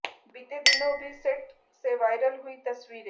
बीते दिनों भी सेट से वायरल हुई तस्वीरें